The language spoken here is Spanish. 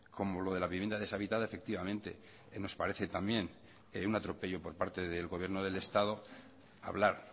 como lo de la vivienda deshabitada efectivamente nos parece también un atropello por parte del gobierno del estado hablar